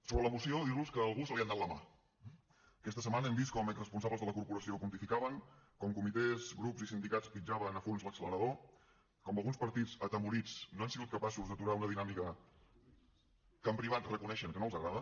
sobre la moció dir los que a algú se li n’ha anat la mà eh aquesta setmana hem vist com exresponsables de la corporació pontificaven com comitès grups i sindicats pitjaven a fons l’accelerador com alguns partits atemorits no han sigut capaços d’aturar una dinàmica que en privat reconeixen que no els agrada